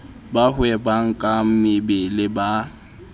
ba hwebang ka mebele ba